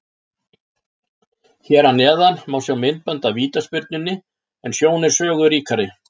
Hér að neðan má sjá myndband af vítaspyrnunni en sjón er sögu ríkari.